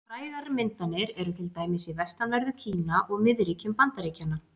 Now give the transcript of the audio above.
Frægar myndanir eru til dæmis í vestanverðu Kína og miðríkjum Bandaríkjanna.